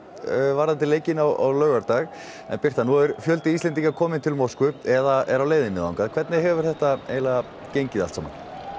varðandi leikinn á laugardag en Birta nú er fjöldi Íslendinga kominn til Moskvu eða á leiðinni hvernig hefur þetta gengið allt saman